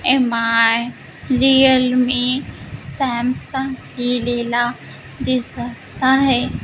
Mi Realme Samsung लिहिलेला दिसत आहे.